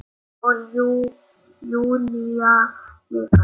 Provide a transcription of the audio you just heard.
Og Júlía líka.